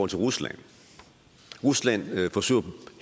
til rusland rusland forsøger